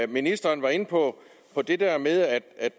ministeren var inde på på det der med at